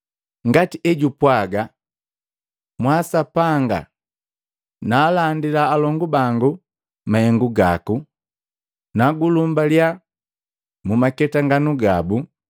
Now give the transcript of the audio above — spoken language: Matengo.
ngati ejupwaga: “Mwaa Sapanga, naalandila alongu bangu mahengu gaku. Nagulumbaliya mu maketanganu gabu.”